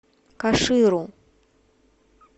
каширу